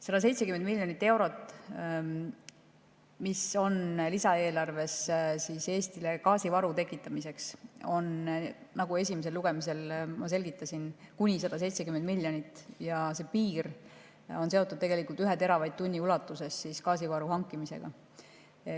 170 miljonit eurot on lisaeelarves Eestile gaasivaru tekitamiseks, seda raha on, nagu ma esimesel lugemisel selgitasin, kuni 170 miljonit ja see piir on seotud 1 teravatt-tunni ulatuses gaasivaru hankimisega.